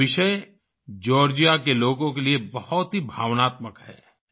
यह विषय जॉर्जिया के लोगों के लिए बहुत ही भावनात्मक है